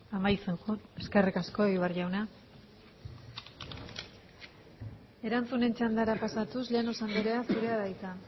amaitzen joan eskerrik asko egibar jauna erantzunen txandara pasatuz llanos andrea zurea da hitza